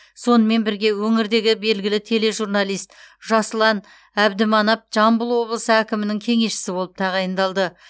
сонымен бірге өңірдегі белгілі тележурналист жасұлан әбдіманап жамбыл облысы әкімінің кеңесшісі болып тағайындалды